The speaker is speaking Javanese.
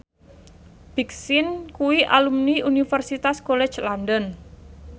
Big Sean kuwi alumni Universitas College London